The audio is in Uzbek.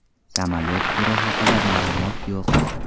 Samolyot turi haqida ma’lumot yo‘q.